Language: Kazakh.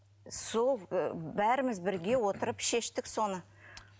сол ыыы бәріміз бірге отырып шештік соны